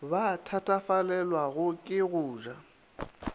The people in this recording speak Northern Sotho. ba thatafalelwago ke go ja